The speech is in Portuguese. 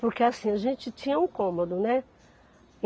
Porque assim, a gente tinha um cômodo, né?